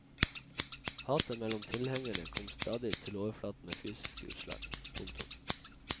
Hatet mellom tilhengerne kom stadig til overflaten med fysiske utslag. punktum